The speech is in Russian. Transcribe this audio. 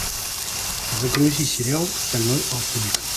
загрузи сериал стальной алхимик